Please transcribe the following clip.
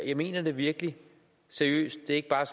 jeg mener det virkelig seriøst det er ikke bare